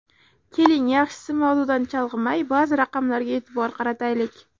Keling, yaxshisi mavzudan chalg‘imay, ba’zi raqamlarga e’tibor qarataylik.